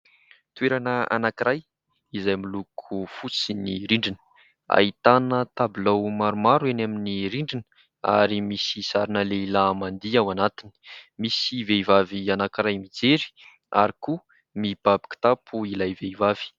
Toerana anankiray izay miloko fotsy ny rindriny, ahitana tabilao maromaro eny amin'ny rindrina ary misy sarina lehilahy mandihy ao anatiny, misy vehivavy anankiray mijery ary koa mibaby kitapo ilay vehivavy.